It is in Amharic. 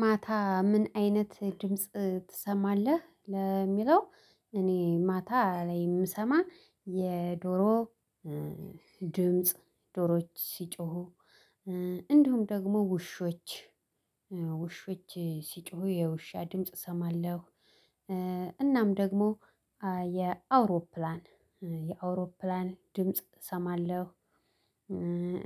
ማታ ምን አይነት ድምጽ ትሰማለህ? ለሚለው እኔ ማታ ላይ የምሰማው የዶሮ ድምጽ፣ ዶሮዎች ሲጮሁ እንዲሁም ደግሞ ውሾች ውሾች ሲጮሁ የውሻ ድምጽ እሰማለሁ። እናም ደግሞ የአውሮፕላን የአውሮፕላን ድምጽ እሰማለሁ።